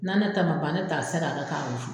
N'a ne ta ban ne ta se ka k'a kɔnɔ.